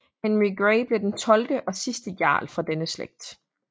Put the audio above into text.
Henry Grey blev den tolvte og sidste jarl fra denne slægt